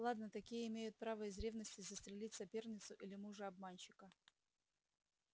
ладно такие имеют право из ревности застрелить соперницу или мужа-обманщика